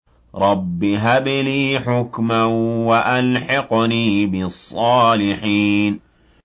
رَبِّ هَبْ لِي حُكْمًا وَأَلْحِقْنِي بِالصَّالِحِينَ